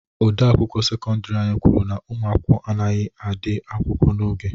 Odeakwụkwọ sekọndiri anyị kwuru na ụmụ akwụkwọ anyị adịghị ahịa akwụkwọ n'oge.